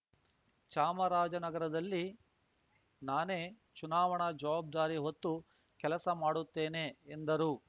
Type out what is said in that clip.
ಚಾಮರಾಜನಗರಲ್ಲಿ ನಾನೇ ಚುನಾವಣಾ ಜವಾಬ್ದಾರಿ ಹೊತ್ತು ಕೆಲಸ ಮಾಡುತ್ತೇನೆ ಎಂದರು